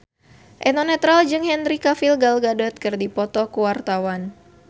Eno Netral jeung Henry Cavill Gal Gadot keur dipoto ku wartawan